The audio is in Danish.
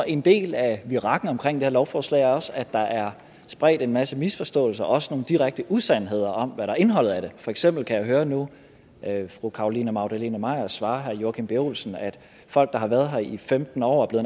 en del af virakken omkring det her lovforslag også skyldes at der er spredt en masse misforståelser og også nogle direkte usandheder om hvad indholdet af det for eksempel kan jeg nu høre fru carolina magdalene maier svare herre joachim b olsen at folk der har været her i femten år og er